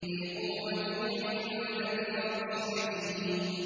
ذِي قُوَّةٍ عِندَ ذِي الْعَرْشِ مَكِينٍ